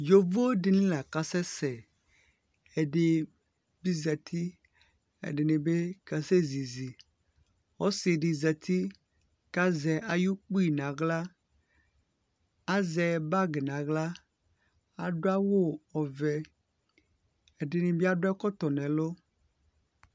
yovodini laka sɛsɛ ɛdinɩ zɛti ɛdinibi kasɛzizi ɔsidi zɛti kazɛ ayukpi naɣla , azɛ bagi naɣla , adʊ awu ɔvɛ ɛdinibi adʊ ɛkɔtɔ nɛ lʊ